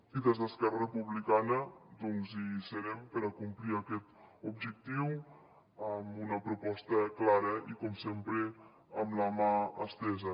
i des d’esquerra republicana doncs hi serem per complir aquest objectiu amb una proposta clara i com sempre amb la mà estesa